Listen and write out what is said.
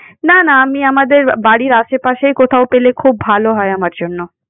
না, না, আমি আমাদের বাড়ির আশেপাশেই কোথাও পেলে খুব ভালো হয় আমার জন্য।